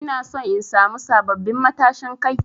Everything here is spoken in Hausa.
Ina son in samu sabbabin matashin Kai.